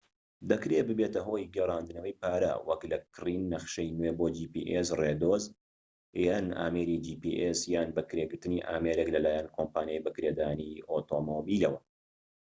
دەکرێت ببێتە هۆی گێڕاندنەوەی پارە وەك لە کڕین نەخشەی نوێ بۆ جی پی ئێس ڕێدۆز، یان ئامێری جی پی ئێس یان بەکرێگرتنی ئامێرێك لەلایەن کۆمپانیای بەکرێدانی ئۆتۆمبیلەوە